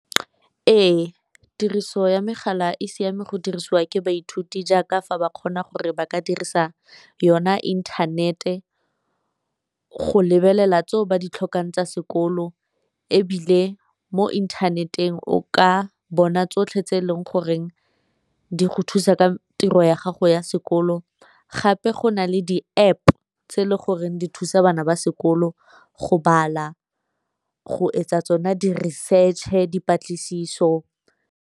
Ee, tiriso ya megala e siame go dirisiwa ke baithuti jaaka fa ba kgona gore ba ka dirisa yona inthanete go lebelela tseo ba ditlhokang tsa sekolo, ebile mo internet-eng o ka bona tsotlhe tse e leng goreng di go thusa ka tiro ya gago ya sekolo, gape go na le di-App tse e le goreng di thusa bana ba sekolo go bala, go etsa tsona di-research-e, dipatlisiso.